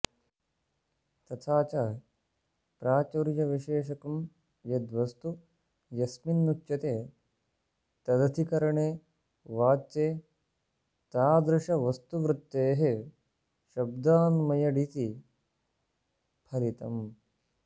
तथाच प्राचुर्यविशेषकं यद्वस्तु यस्मिन्नुच्यते तदधिकरणे वाच्ये तादृशवस्तुवृत्तेः शब्दान्मयडिति फलितम्